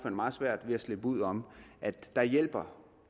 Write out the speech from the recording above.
meget svært ved at slippe uden om at der hjælper